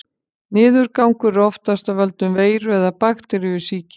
Niðurgangur er oftast af völdum veiru- eða bakteríusýkinga.